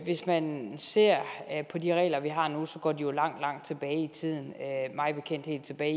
hvis man ser på de regler vi har nu så går de jo langt langt tilbage i tiden mig bekendt helt tilbage